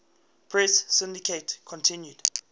press syndicate continued